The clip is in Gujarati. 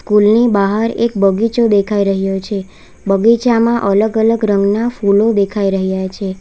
કૂલ ની બાહાર એક બગીચો દેખાય રહ્યો છે બગીચામાં અલગ અલગ રંગના ફૂલો દેખાય રહ્યા છે.